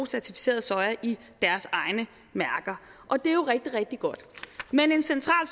certificeret soja i deres egne mærker og det er jo rigtig rigtig godt men en central